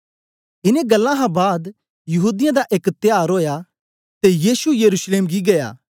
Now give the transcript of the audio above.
इनें गल्लां हां बाद यहूदीयें दा एक त्यार ओया ते यीशु यरूशलेम गी गीया